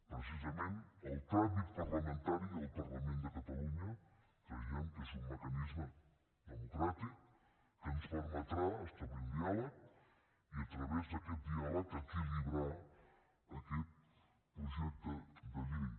precisament el tràmit parlamentari al parlament de catalunya creiem que és un mecanisme democràtic que ens permetrà establir un diàleg i a través d’aquest diàleg equilibrar aquest projecte de llei